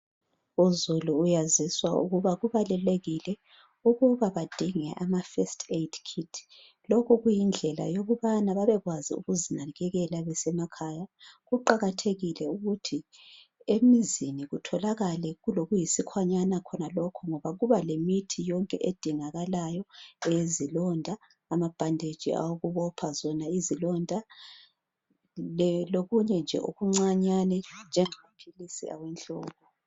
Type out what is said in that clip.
Uzulu uyaziswa ukuba kubalulekile ukuba badinge ama first aid kit , lokhu kuyindlela yokubana babekwazi ukuzinakakela besemakhaya , kuqakathekile ukuthi emzini kutholakale kulokuyiskhwanyana khonanalokhu ngoba yonke edingakalayo , eyezilonda, amabandage awokubopha zona izilonda lokunye nje okuncanyane njengamaphilisi awenhloko